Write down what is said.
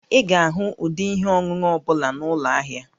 Ị ga-ahụ ụdị ihe ọṅụṅụ ọ bụla na ụlọ ahịa